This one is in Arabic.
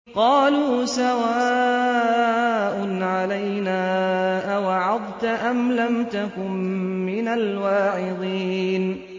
قَالُوا سَوَاءٌ عَلَيْنَا أَوَعَظْتَ أَمْ لَمْ تَكُن مِّنَ الْوَاعِظِينَ